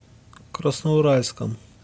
красноуральском